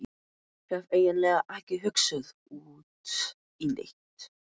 Hef eiginlega ekki hugsað út í neitt.